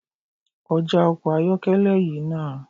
Kọjá ọkọ ayọ́kẹ́lẹ́ yìí nah!